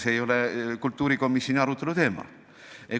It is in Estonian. See ei ole kultuurikomisjoni arutelu teema.